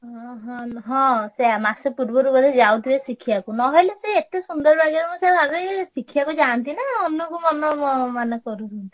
ହଁ ହଁ ହଁ ସେୟା ମାସେ ପୂର୍ବରୁ ବୋଧେ ଯାଉଥିବେ ଶିଖିଆକୁ ନହେଲେ ସେ ଏତେ ସୁନ୍ଦର ବାଗରେ ମୁଁ ସେୟା ଭାବେଇ ଶିଖିଆକୁ ଯାଆନ୍ତି ନା ମନକୁ ମନକୁ ମାନେ କରୁଛନ୍ତି।